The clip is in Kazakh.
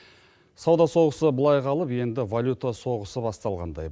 сауда соғысы былай қалып енді валюта соғысы басталғандай